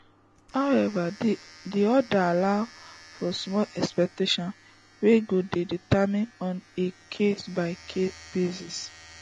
however di order allow for small exceptions wey go dey determined on a case by case basis